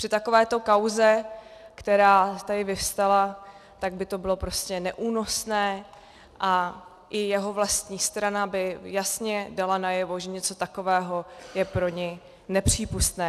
Při takovéto kauze, která tady vyvstala, tak by to bylo prostě neúnosné a i jeho vlastní strana by jasně dala najevo, že něco takového je pro ni nepřípustné.